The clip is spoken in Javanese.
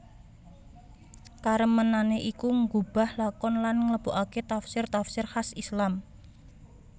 Karemenané iku nggubah lakon lan ngleboaké tafsir tafsir khas Islam